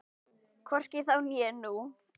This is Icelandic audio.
Hvorki þá né nú.